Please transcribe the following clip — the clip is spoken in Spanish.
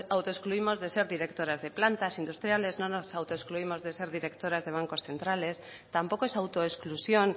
autoexcluimos de ser directoras de plantas industriales no nos autoexcluimos de ser directoras de bancos centrales tampoco es autoexclusión